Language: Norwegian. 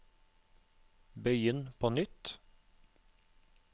begynn på nytt